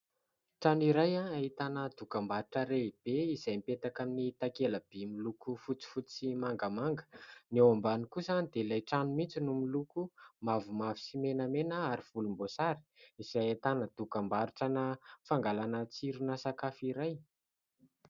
Trano iray ahitana dokam-barotra lehibe izay mipetaka amin'ny takela-by miloko fotsifotsy sy mangamanga. Ny eo ambany kosa dia ilay trano mihitsy no miloko mavomavo sy menamena ary volomboasary izay ahitana dokam-barotrana fangalana tsirona sakafo iray.